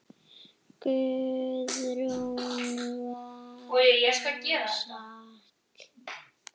Guðrún var góð sál.